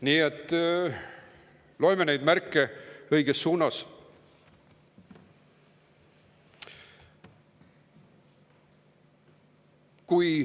Nii et loeme neid märke õiges suunas.